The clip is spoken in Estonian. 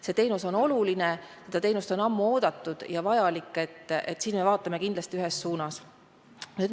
See teenus on oluline, seda teenust on ammu oodatud ja siin me vaatame kindlasti ühes suunas.